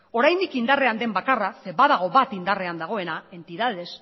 oraindik indarrean den bakarra zeren badago bat indarrean dagoena entidades